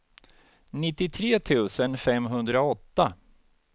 nittiotre tusen femhundraåtta